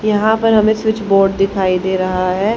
यहां पर हमें स्विच बोर्ड दिखाई दे रहा है।